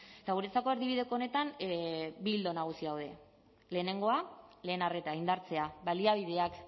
eta guretzako erdibideko honetan bi ildo nagusi daude lehenengoa lehen arreta indartzea baliabideak